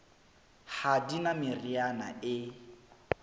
ha di na meriana e